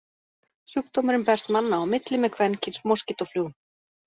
Sjúkdómurinn berst manna á milli með kvenkyns moskítóflugum.